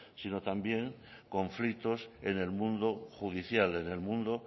sino también conflictos en el mundo judicial en el mundo